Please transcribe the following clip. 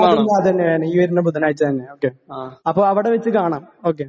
അതന്നെ അതന്നെയാണ് ഈ വരുന്ന ബുധനാഴ്ച്ച തന്നെ ഓക്കേ അപ്പൊ അവടെ വെച്ച് കാണാം ഓക്കേ